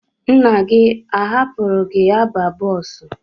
Nna gị ọ hapụrụ gị aba bọọsụ?